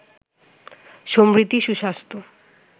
সমৃদ্ধি, সুস্বাস্থ্য